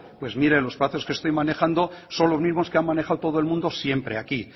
pues mire los plazos que estoy manejando son los mismos que han manejado todo el mundo siempre aquí